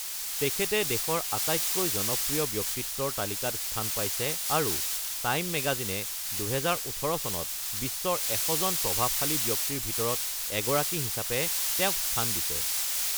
তেখেতে দেশৰ আটাইতকৈ জনপ্ৰিয় ব্যক্তিত্বৰ তালিকাত স্থান পাইছে, আৰু টাইম ম্যাগাজিনে ২০১৮ চনত বিশ্বৰ ১০০ জন প্ৰভাবশালী ব্যক্তিৰ ভিতৰত এগৰাকী হিচাপে তেওঁক স্থান দিছে।